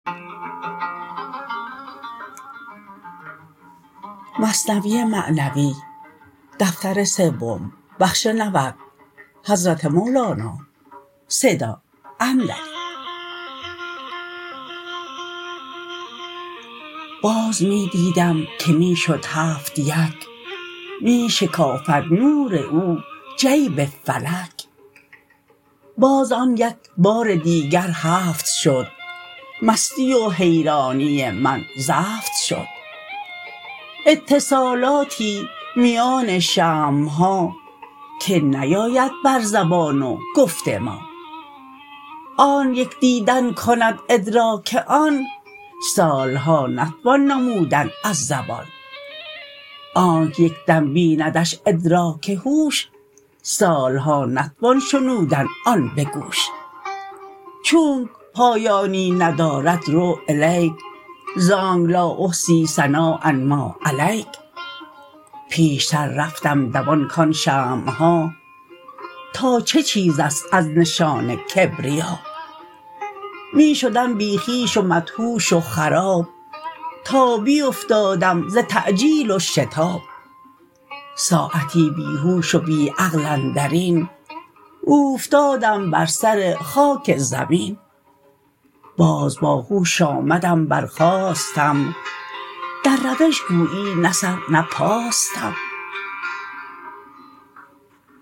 باز می دیدم که می شد هفت یک می شکافد نور او جیب فلک باز آن یک بار دیگر هفت شد مستی و حیرانی من زفت شد اتصالاتی میان شمعها که نیاید بر زبان و گفت ما آنک یک دیدن کند ادراک آن سالها نتوان نمودن از زبان آنک یک دم بیندش ادراک هوش سالها نتوان شنودن آن بگوش چونک پایانی ندارد رو الیک زانک لا احصی ثناء ما علیک پیشتر رفتم دوان کان شمعها تا چه چیزست از نشان کبریا می شدم بی خویش و مدهوش و خراب تا بیفتادم ز تعجیل و شتاب ساعتی بی هوش و بی عقل اندرین اوفتادم بر سر خاک زمین باز با هوش آمدم برخاستم در روش گویی نه سر نه پاستم